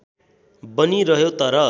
बनि रह्यो तर